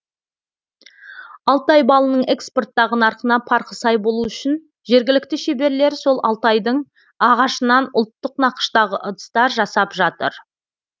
алтай балының экспорттағы нарқына парқы сай болу үшін жергілікті шеберлер сол алтайдың ағашынан ұлттық нақыштағы ыдыстар жасап жатыр